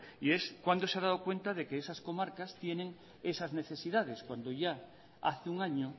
cuándo se ha dado cuenta de que esas comarcas tienen esas necesidades cuando ya hace un año